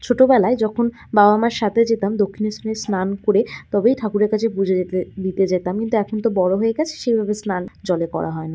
ছোটবেলায় যখন বাবা মার সাথে যেতাম দক্ষিণেশ্বরে স্নান করে তবেই ঠাকুরের কাছে পুজো দিতে দিতে যেতে যেতাম কিন্তু এখন তো বড়ো হয়ে গেছি সেভাবে স্নান জলে করা হয় না।